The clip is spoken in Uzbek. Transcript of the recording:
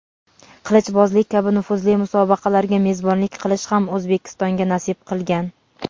qilichbozlik kabi nufuzli musobaqalarga mezbonlik qilish ham O‘zbekistonga nasib qilgan.